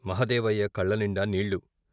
మహదేవయ్య కళ్ళనిండా నీళ్ళు.